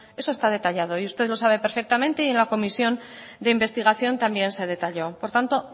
eso está detallado y usted lo sabe perfectamente y en la comisión de investigación también se detalló por tanto